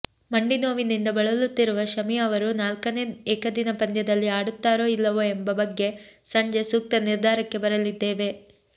ಮಂಡಿನೋವಿನಿಂದ ಬಳಲುತ್ತಿರುವ ಶಮಿ ಅವರು ನಾಲ್ಕನೆ ಏಕದಿನ ಪಂದ್ಯದಲ್ಲಿ ಆಡುತ್ತಾರೋ ಇಲ್ಲವೋ ಎಂಬ ಬಗ್ಗೆ ಸಂಜೆ ಸೂಕ್ತ ನಿರ್ಧಾರಕ್ಕೆ ಬರಲಿದ್ದೇವೆ